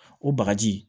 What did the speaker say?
O bagaji